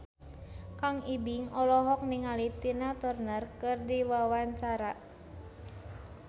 Kang Ibing olohok ningali Tina Turner keur diwawancara